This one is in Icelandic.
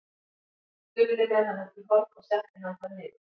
Stulli með hann út í horn og setti hann þar niður.